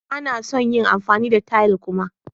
Ba na son yin amfani da tayal kuma.